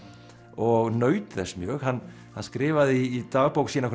og naut þess mjög hann skrifaði í dagbók sína